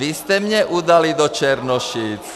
Vy jste mě udali do Černošic.